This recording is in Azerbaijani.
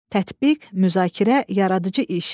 Tətbiq, müzakirə, yaradıcı iş.